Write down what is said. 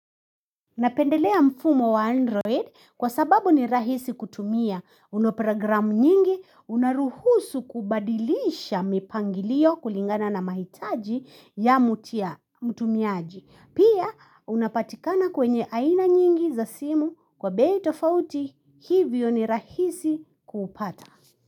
Napendelea mfumo wa Android kwa sababu ni rahisi kutumia una program nyingi, unaruhusu kubadilisha mipangilio kulingana na mahitaji ya mtumiaji. Pia unapatikana kwenye aina nyingi za simu kwa bei tofauti hivyo ni rahisi kuupata.